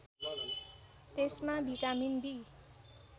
यसमा vitamin be